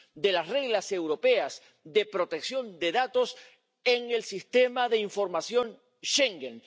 de las reglas europeas de protección de datos en el Sistema de Información Schengen.